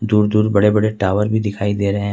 दूर दूर बड़े बड़े टावर भी दिखाई दे रहे हैं।